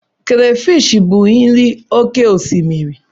Krafish bụ nri oké osimiri.